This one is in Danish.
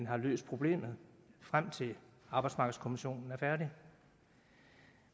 har løst problemet frem til at arbejdsmarkedskommissionen er færdig